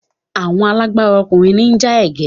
Àwọn alágbára ọkùnrin ní ń ja ẹkẹ.